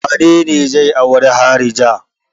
Wane ne zai auri harija?